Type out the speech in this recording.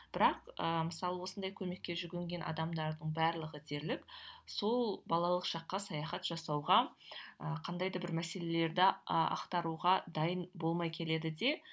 бірақ ыыы мысалы осындай көмекке жүгінген адамдардың барлығы дерлік сол балалық шаққа саяхат жасауға ы қандай да бір мәселелерді а ақтаруға дайын болмай келеді де